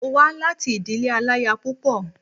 Mo wá láti ìdílé aláya púpọ̀